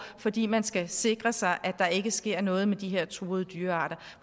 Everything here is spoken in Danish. fordi man skal sikre sig at der ikke sker noget med de her truede dyrearter